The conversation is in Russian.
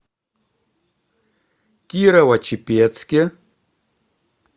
кирово чепецке